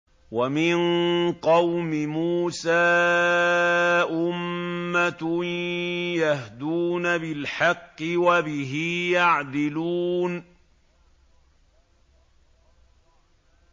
وَمِن قَوْمِ مُوسَىٰ أُمَّةٌ يَهْدُونَ بِالْحَقِّ وَبِهِ يَعْدِلُونَ